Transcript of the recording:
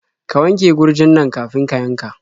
Ka wanke gurjin nan kafin ka yanka.